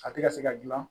A tɛ ka se ka dilan